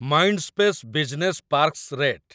Mindspace business parks rate